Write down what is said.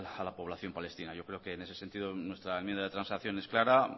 a la población palestina yo creo que en ese sentido nuestra enmienda de transacción es clara